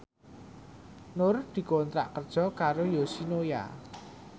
Nur dikontrak kerja karo Yoshinoya